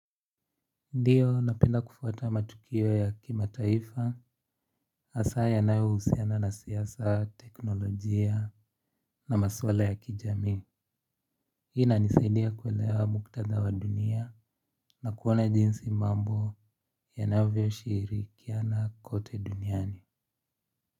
Ndiyo, napenda kufuata matukio ya kimataifa, hasa yanayousiana na siasa, teknolojia na maswala ya kijamii. Hii inanisaidia kuelewa muktadha wa dunia na kuona jinsi mambo yanavyoshirikiana kote duniani.